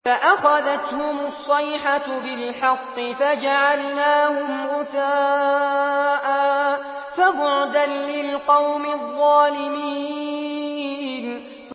فَأَخَذَتْهُمُ الصَّيْحَةُ بِالْحَقِّ فَجَعَلْنَاهُمْ غُثَاءً ۚ فَبُعْدًا لِّلْقَوْمِ الظَّالِمِينَ